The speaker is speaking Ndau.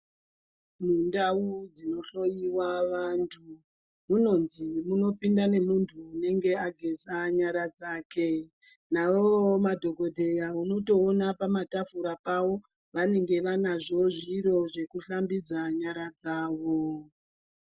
Mundau dzinohlowiwa vantu, munonzi munopinda nemuntu unenge ageza nyara dzake. Nawoo madhokodheya unotoona pamatafura pavo vanenge vanazvo zviro zvekushambidza nyara dzavo.